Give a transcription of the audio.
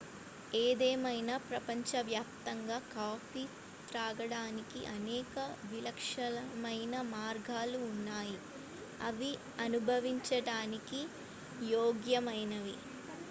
ఏదేమైనా ప్రపంచవ్యాప్తంగా కాఫీ త్రాగడానికి అనేక విలక్షణమైన మార్గాలు ఉన్నాయి అవి అనుభవించడానికి యోగ్యమైనవి